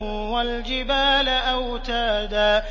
وَالْجِبَالَ أَوْتَادًا